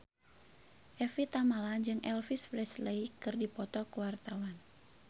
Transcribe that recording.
Evie Tamala jeung Elvis Presley keur dipoto ku wartawan